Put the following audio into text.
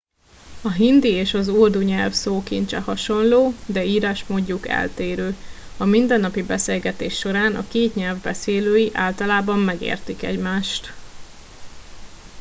a hindi és az urdu nyelv szókincse hasonló de írásmódjuk eltérő a mindennapi beszélgetés során a két nyelv beszélői általában megértik egymást